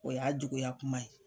O y'a juguya kuma ye.